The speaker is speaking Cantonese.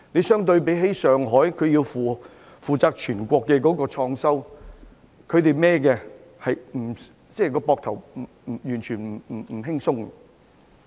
相對而言，上海要負責全國的創收，他們背負的壓力絕不輕鬆。